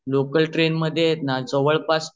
local train मध्ये जावड pass